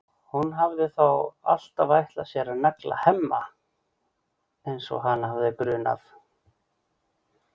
Hún hafði þá alltaf ætlað sér að negla Hemma eins og hana hafði grunað.